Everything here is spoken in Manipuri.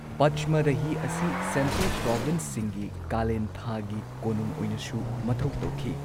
ꯄꯆꯃꯔꯍꯤ ꯑꯁꯤ ꯁꯦꯟꯇ꯭ꯔꯦꯜ ꯄ꯭ꯔꯣꯕꯤꯟꯁꯁꯤꯡꯒꯤ ꯀꯥꯂꯦꯟꯊꯥꯒꯤ ꯀꯣꯅꯨꯡ ꯑꯣꯏꯅꯁꯨ ꯃꯊꯧ ꯇꯧꯈꯤ꯫